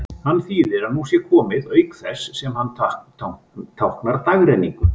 Hann þýðir að nú sé nóg komið, auk þess sem hann táknar dagrenninguna.